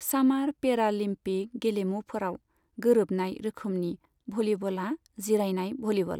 सामार पेरालिम्पिक गेलेमुफोराव गोरोबनाय रोखोमनि भलीबलआ जिरायनाय भलीबल।